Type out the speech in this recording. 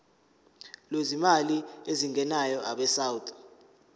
lwezimali ezingenayo abesouth